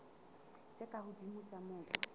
tse ka hodimo tsa mobu